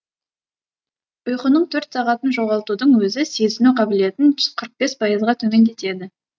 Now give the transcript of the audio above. ұйқының төрт сағатын жоғалтудың өзі сезіну қабілетін қырық бес пайызға төмендетеді